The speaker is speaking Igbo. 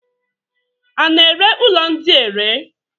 A na-ere ụlọ ndị a ere?